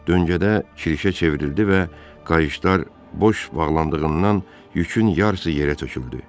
Döngədə kirişə çevrildi və qayışlar boş bağlandığından yükün yarısı yerə töküldü.